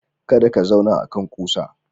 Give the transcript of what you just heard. Kada ka zauna akan ƙusa.